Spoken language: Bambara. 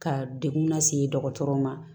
Ka degun lase dɔgɔtɔrɔw ma